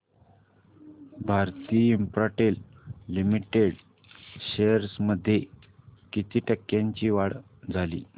Bharti Infratel limited shares मध्ये किती टक्क्यांची वाढ झाली